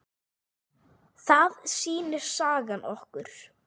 Það sýnir sagan okkur.